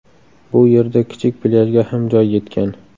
Bu yerda kichik plyajga ham joy yetgan.